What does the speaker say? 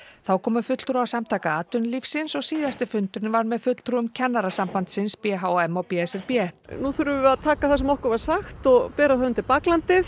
þá komu fulltrúar Samtaka atvinnulífsins og síðasti fundurinn var með fulltrúum Kennarasambandsins b h m og b s r b nú þurfum við við að taka það sem okkur var sagt og bera það undir baklandið